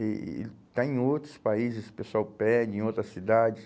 E e ele está em outros países, o pessoal pede, em outras cidades.